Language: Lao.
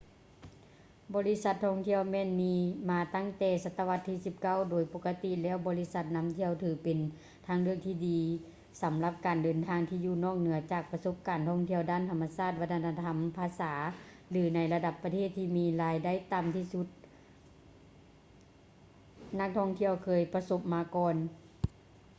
ບໍລິສັດທ່ອງທ່ຽວແມ່ນມີມາຕັ້ງແຕ່ສະຕະວັດທີ 19 ໂດຍປົກກະຕິແລ້ວບໍລິສັດນຳທ່ຽວຖືເປັນທາງເລືອກທີ່ດີສຳລັບການເດີນທາງທີ່ຢູ່ນອກເໜືອຈາກປະສົບການທ່ອງທ່ຽວດ້ານທຳມະຊາດ ວັດທະນະທຳ ພາສາ ຫຼື ໃນບັນດາປະເທດທີ່ມີລາຍໄດ້ຕໍ່າທີ່ນັກທ່ອງທ່ຽວເຄີຍປະສົບມາກ່ອນ